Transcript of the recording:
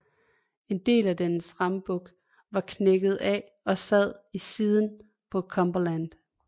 En del af dens rambuk var knækket af og sad i siden på Cumberland